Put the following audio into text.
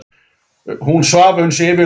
Hún svaf uns yfir lauk.